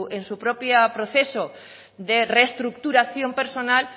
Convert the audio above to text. en su propio proceso de reestructuración personal